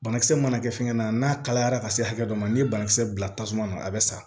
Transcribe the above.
Banakisɛ mana kɛ fɛngɛ na n'a kalayara ka se hakɛ dɔ ma n'i ye banakisɛ bila tasuma na a bɛ sa